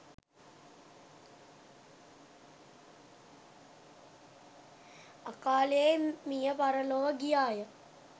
අකාලයේ මිය පරලොව ගියා ය